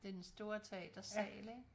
Den store teatersal ikke